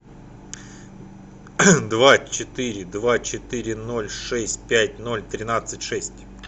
два четыре два четыре ноль шесть пять ноль тринадцать шесть